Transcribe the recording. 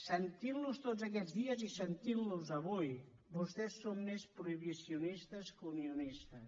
sentint los tots aquests dies i sentint los avui vostès són més prohibicionistes que unionistes